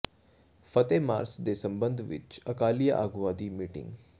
ਫਤਹਿ march ਦੇ ਸਬੰਧ ਵਿਚ ਅਕਾਲੀ ਆਗੂਆਂ ਦੀ ਮੀਟਿੰਗ